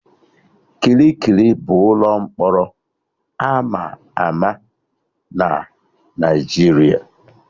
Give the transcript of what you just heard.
Kirikiri bụ ụlọ mkpọrọ ama ama na Naijiria